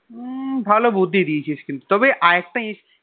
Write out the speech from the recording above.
উম ভালো বুদ্ধি দিয়েছিস কিন্তু তবে আর একটা ইশ